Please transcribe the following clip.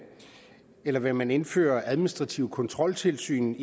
eller vil man indføre et administrativt kontroltilsyn